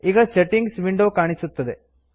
ಈಗ settings window ಕಾಣಿಸುತ್ತದೆ